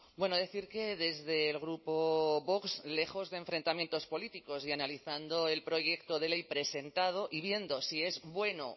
bueno decir que desde el grupo vox lejos de enfrentamientos políticos y analizando el proyecto de ley presentado y viendo si es bueno